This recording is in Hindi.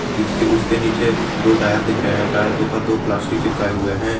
जिसके उसके नीचे दो टायर दिख रहे हैं टायर के ऊपर दो प्लास्टिक चिपकाए हुए हैं।